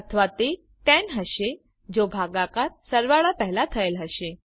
અથવા તે 10 હશે જો ભાગાકાર સરવાળા પેહલા થયેલ હશે